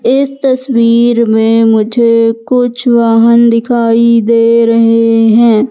इस तस्वीर में मुझे कुछ वाहन दिखाई दे रहे हैं।